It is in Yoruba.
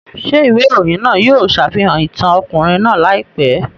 Ṣé ìwé ìròyìn náà yóò ṣàfihàn ìtàn ọkùnrin náà láìpẹ́?